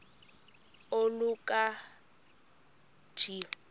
oluka ka njl